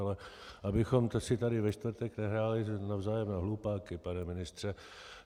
Ale abychom si tady ve čtvrtek nehráli navzájem na hlupáky, pane ministře.